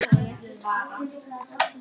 En það verður betra næst.